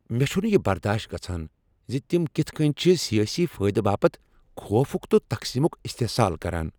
مےٚ چھنہٕ یہ برداش گژھان ز تم کِتھ کٕنۍ چھ سیٲسی فٲیدٕ باپتھ خوفک تہٕ تقسیٖمک استحصال کٔران ۔